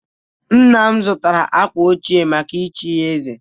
Nna m zụtara akwa ọcha maka ichi ya eze